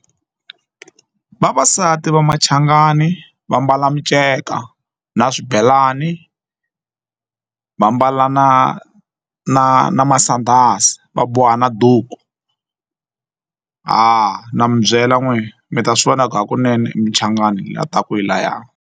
Vavasati va machangani va mbala minceka na swibelani va mbala na na na masandhazi va boha na duku ha na mi byela n'we mi ta swi vona ku hakunene i muchangani la taka hi laya.